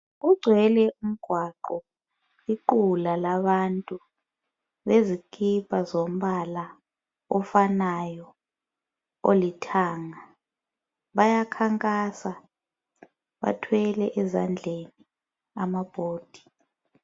Ugcwele umgwaqo iqula labantu bezikipa zombala ofanayo olithanga bayakhankasa bathwele ezandleni ama board.